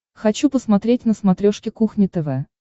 хочу посмотреть на смотрешке кухня тв